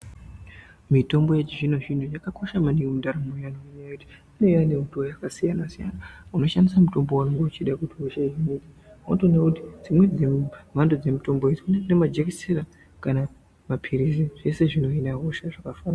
Mitombo yechizvino zvino zvakakosha maningi mundaramo yedu ngenyaya yekuti inenge yauya nemutoo wakasiyana siyana unoshandisa mutombo uyu uchida kuhina wotoona kuti dzimweni hosha dzine mitombo yakaita majekiseni kana mapirizi zveshe zvino hina hosha zvakafanana.